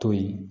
To yen